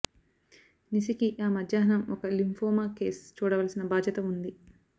నిసికి ఆ మధ్యాహ్నం ఒక లింఫోమా కేస్ చూడవలసిన బాధ్యత ఉంది